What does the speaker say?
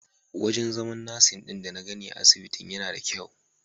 Wajen zaman nasin ɗin dana gani a asibitin yana da kyau.